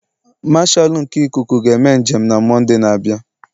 Marshalu nke Ịkụku ga-eme njem na Mọnde na-abịa.